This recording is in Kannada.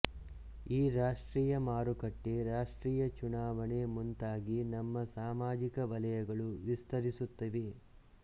ಈ ರಾಷ್ಟ್ರೀಯ ಮಾರುಕಟ್ಟೆ ರಾಷ್ಟ್ರೀಯ ಚುನಾವಣೆ ಮುಂತಾಗಿ ನಮ್ಮ ಸಾಮಾಜಿಕ ವಲಯಗಳು ವಿಸ್ತರಿಸುತ್ತಿವೆ